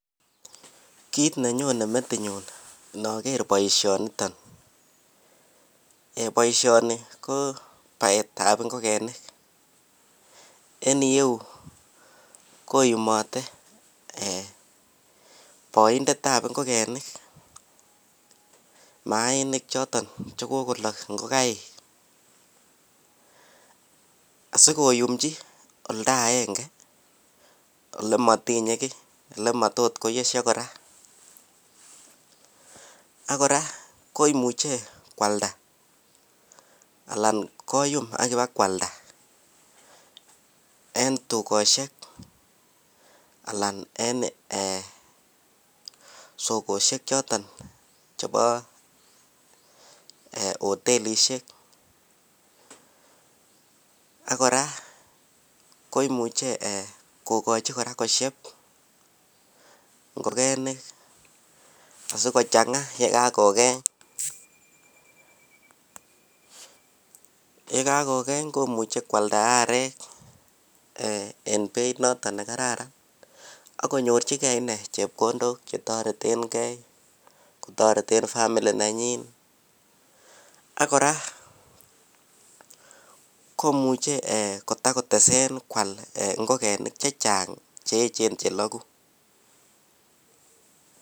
Kit nenyonen metinyun naker baishoniton ko baishoni ko taet ab ingokenik en ireyu koyumatr baindet ab ingogenik mainik choton chikakolok ingokaik asikoyumchi olda agenge olematinye gi akomayot koyesio koraa akoraa koimuche kwalda anan koyum akoba kwalda en tukoshek anan en sokoshek choton chebo hotelishek akoraa koimuche kokachin koraa kosheb ingokenik sikochamga kogeny yekakokeny komuche kwaldayak arek en Beit noton nekararan akinyorchigei inei chepkondok chetareten gei kotareten family nanyin akoraa komuche kotakotesen en kwalda ingogenik chechang cheyechen chelagu